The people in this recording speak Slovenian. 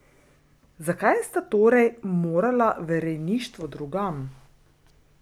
Zakaj sta torej morala v rejništvo drugam?